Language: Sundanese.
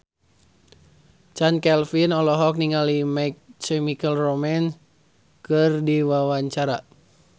Chand Kelvin olohok ningali My Chemical Romance keur diwawancara